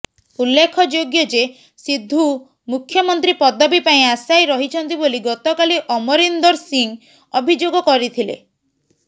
ଉଲ୍ଲେଖଯୋଗ୍ୟ ଯେ ସିଦ୍ଧୁ ମୁଖ୍ୟମନ୍ତ୍ରୀ ପଦବୀ ପାଇଁ ଆଶାୟୀ ରହିଛନ୍ତି ବୋଲି ଗତକାଲି ଅମରିନ୍ଦର ସିଂ ଅଭିଯୋଗ କରିଥିଲେ